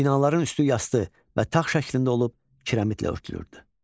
Binaların üstü yastı və tağ şəklində olub kirəmitlə örtülürdü.